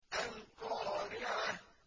الْقَارِعَةُ